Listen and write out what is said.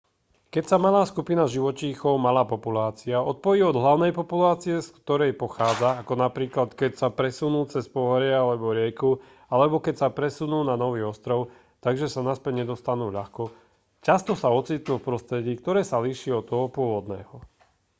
keď sa malá skupina živočíchov malá populácia odpojí od hlavnej populácie z ktorej pochádza ako napríklad keď sa presunú cez pohorie alebo rieku alebo keď sa presunú na nový ostrov takže sa naspäť nedostanú ľahko často sa ocitnú v prostredí ktoré sa líši od toho pôvodného